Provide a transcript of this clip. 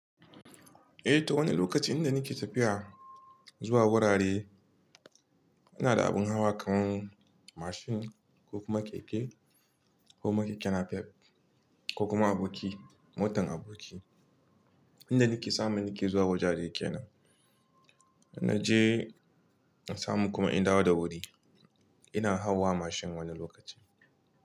Eh, to wani lokaci inda nake tafiya zuwa wurare ina da abin hawa kamar mashin ko kuma keke ko kuma keke napep ko kuma aboki motan aboki. Inda nake samu nake zuwa wajaje kenan. Na je na samu kuma in dawo da wuri ina hawa mashin wani lokacin.